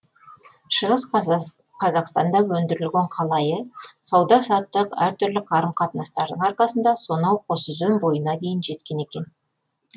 шығыс қазақстанда өндірілген қалайы сауда саттық әртүрлі қарым қатынастардың арқасында сонау қосөзен бойына дейін жеткен екен